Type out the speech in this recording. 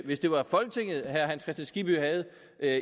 hvis det var folketinget herre hans kristian skibby havde